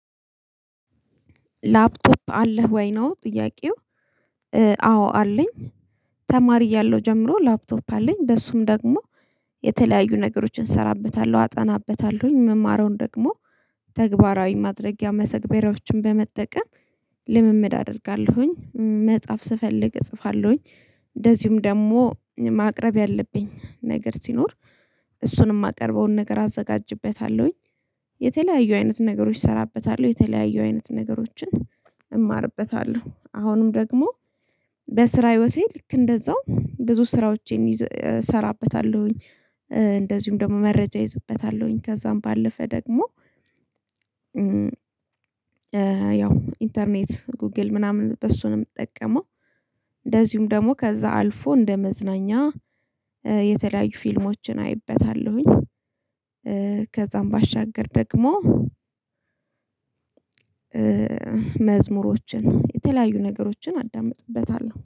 ላፕቶፕ አለህ ወይ ነው? ጥያቄው አዎ አለኝ። ተማሪ እያለው ጀምሮ ላፕቶፕ አለኝ በሱም ደግሞ የተለያዩ ነገሮችን እሰራበታለሁ አጠናበታለሁኝ ምማረውን ደግሞ ተግባራዊ ማድረጊያ መተግበራዎችን በመጠቀም። ልምምድ አደርጋለሁኝ መጽሐፍ ስፈልግ እጽፋለሁኝ እንደዚሁም ደግሞ ማቅረብ ያለብኝ ነገር ሲኖር እሱንም የማቀርበውን ነገር አዘጋጅቤታለሁኝ። የተለያዩ አይነት ነገሮች እሰራበታለሁ የተለያዩ አይነት ነገሮችን እማርበታለሁ አሁንም ደግሞ በስራ ህይወቴ ልክ እንደዛው ብዙ ስራዎቼን እሰራበታለሁኝ። እንደዚሁም ደግሞ መረጃ እይዝበታለሁኝ ከዛም ባለፈ ደግሞ ያው ኢንተርኔት ጉግል ምናምን በሱ ነው ምትጠቀመው? እንደዚሁም ደግሞ ከዛ አልፎ እንደ መዝናኛ የተለያዩ ፊልሞችን አይበታለሁኝ። ከዛም ባሻገር ደግሞ መዝሙሮችን የተለያዩ ነገሮችን አዳምጥበታለሁ